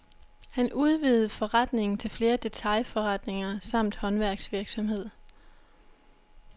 Han udvidede forretningen til flere detailforretninger samt håndværksvirksomhed.